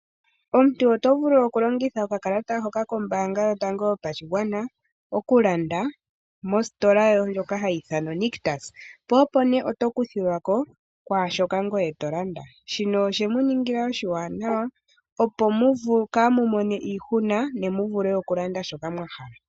Omuntu oto vulu okulongitha okakalata hoka kombaanga yotango yopashigwana okulanda mositola ndjoka hayi ithanwa oNictus po opo nee oto kuthilwa ko kwaashoka ngoye to landa. Shino oshe muningila oshiwanawa opo kaamu mone iihuna ne mu vule okulanda shoka mwa hala.